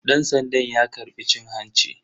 Dan sandan ya karbi cin hanci.